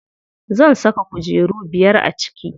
Zan saka kujeru biyar a ciki.